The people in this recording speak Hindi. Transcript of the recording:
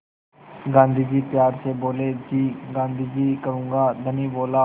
गाँधी जी प्यार से बोले जी गाँधी जी करूँगा धनी बोला